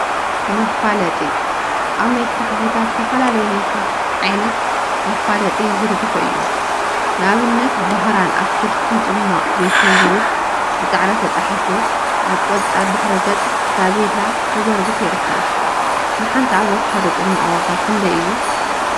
መፋለጢ አብ ናይ ስራሕ ቦታ ዝተፈላለዩ ናይ ስራሕ ዓይነት መፋለጢ ይዝርግሑ እዮም፡፡ ንአብነት ባህራን አትክልቲን ፅሟቅ ቤትን ዝብል ብፃዕዳ ተፃሒፉ አብ ቆፃል ድሕረ ገፅ ብታፔላ ተዘርጊሑ ይርከብ፡፡ ንሓንቲ አቨካዶ ፅሟቅ ዋጋ ክንደይ እዩ?